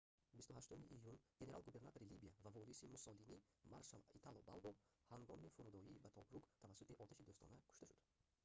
28 июн генерал-губернатори либия ва вориси муссолинӣ маршал итало балбо ҳангоми фурудойӣ ба тобрук тавассути оташи дӯстона кушта шуд